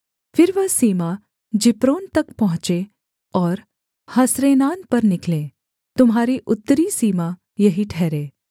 फिर वह सीमा जिप्रोन तक पहुँचे और हसरेनान पर निकले तुम्हारी उत्तरी सीमा यही ठहरे